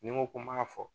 Ni n ko ko n b'a fɔ